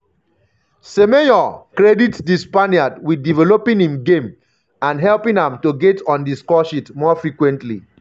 semenyo um credit di spaniard wit developing im game and helping am to get on di scoresheet more frequently.